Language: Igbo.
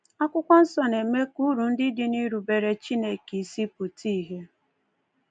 Akwụkwọ Nsọ na-eme ka uru ndị dị n’irubere Chineke isi pụta ìhè.